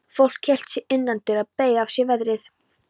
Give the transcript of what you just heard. Fólk hélt sig innandyra, beið af sér veðrið.